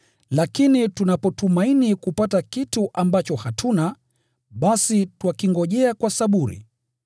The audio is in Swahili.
Lakini tunapotumaini kupata kitu ambacho hatuna, basi twakingojea kwa saburi.